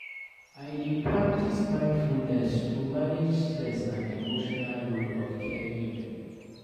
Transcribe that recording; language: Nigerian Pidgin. I dey practice mindfulness to manage stress and emotional load of caregiving.